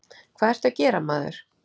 Hvað ertu að gera, maður?